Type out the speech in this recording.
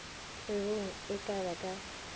kgwebong e ka ba ka